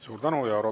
Suur tänu!